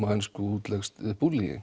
á ensku útleggst